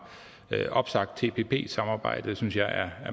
opsagt tpp samarbejdet synes jeg er